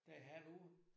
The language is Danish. Det halv år